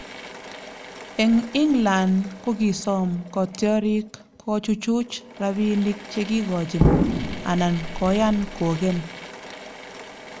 Eng England kokisoom kotiorik kochuchuch rabiinik che kigochin anan koyan kogen